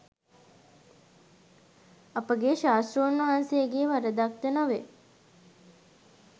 අපගේ ශාස්තෘන් වහන්සේගේ වරදක්ද නොවේ.